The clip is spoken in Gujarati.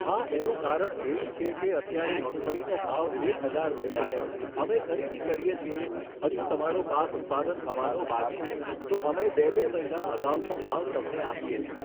હા એનું કારણ એવું છે કે અત્યારે મગફળીનો ભાવ એક હજાર રૂપિયા છે અમે ખરીદી કરીએ છીએ હજું તમારો પાક ઉત્પાદન થવાનો બાકી છે તો અમે બે બે મહિના અગાઉનો ભાવ તમને આપીએ છીએ